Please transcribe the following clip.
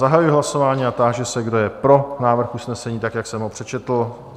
Zahajuji hlasování a táži se, kdo je pro návrh usnesení tak, jak jsem ho přečetl?